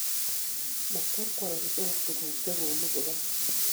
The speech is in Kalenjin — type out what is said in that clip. Mo kwarkwaronosiek tugul chekoonu bukaat